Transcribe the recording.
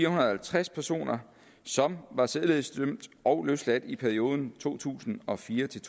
og halvtreds personer som var sædelighedsdømte og løsladte i perioden to tusind og fire til